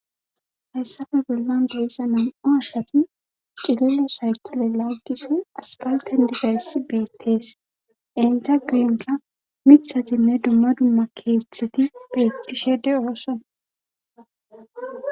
Hayssafe bollan beissa nam'o assati cilelo saykile laaggisoy aspalten digayss beettees enta guyinka mithatinne dumma dumma keeththeti beettishede ooson.